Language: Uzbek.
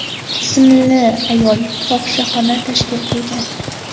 ismli ayol fohishaxona tashkil qilgan.